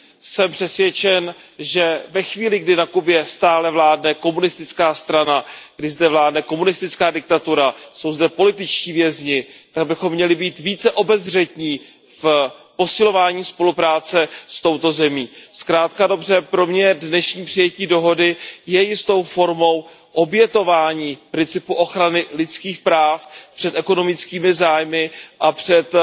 Jsem přesvědčen, že ve chvíli, kdy na Kubě stále vládne komunistická strana, kdy zde vládne komunistická diktatura, jsou zde političtí vězni, tak bychom měli být více obezřetní v posilování spolupráce s touto zemí. Zkrátka a dobře, pro mě je dnešní přijetí dohody jistou formou obětování principu ochrany lidských práv před ekonomickými zájmy a před